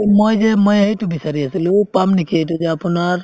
মই যে মই সেইটো বিচাৰি আছিলো পাম নেকি এইটো যে আপোনাৰ